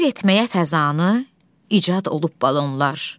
Seyr etməyə fəzanı, icad olub balonlar.